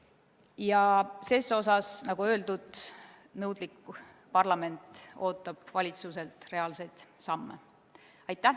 Ja ses osas, nagu öeldud, nõudlik parlament ootab valitsuselt reaalseid samme.